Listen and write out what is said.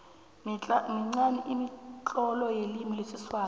minqani imitlolo yelimi lesiswati